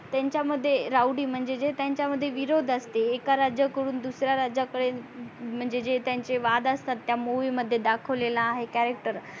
त्यांचा मध्ये राऊडी म्हणजे जे त्यांच्या मध्ये विरोध असते एक राज्या कडून दुसऱ्या राज्या कडे म्हणजे जे त्यांचे वाद असतात त्या movie मध्ये दाखवलेला आहे character